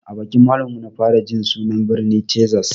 A bakin malamin mu na fara jin sunan birnin tezas